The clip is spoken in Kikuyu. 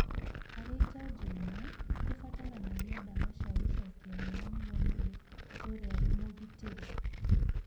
Harĩ njanjo imwe, nĩ kũbataranagia ndawa cia gũcokia hinya nĩguo mũndũ atũũre arĩ mũgitĩre.